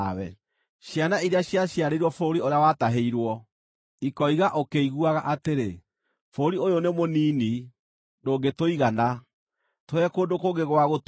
Ciana iria ciaciarĩirwo bũrũri ũrĩa watahĩirwo, ikoiga ũkĩiguaga atĩrĩ, ‘Bũrũri ũyũ nĩ mũnini, ndũngĩtũigana, tũhe kũndũ kũngĩ gwa gũtũũra.’